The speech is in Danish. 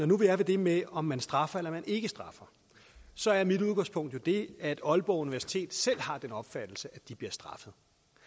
nu er ved det med om man straffer eller ikke straffer så er mit udgangspunkt jo det at aalborg universitet selv har den opfattelse at de bliver straffet